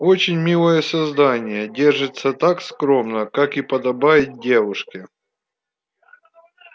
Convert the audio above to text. очень милое создание держится так скромно как и подобает девушке